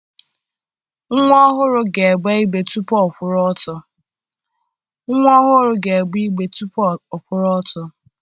Nnwa ọhụrụ ga-egbe igbe tupu ọ kwụrụ ọtọ